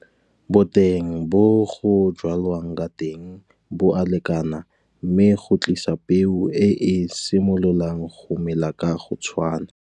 Boteng bo go jwalwang ka teng bo a lekana mme go tlisa peo e e simololang go mela ka go tshwana.